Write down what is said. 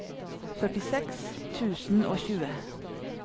førtiseks tusen og tjue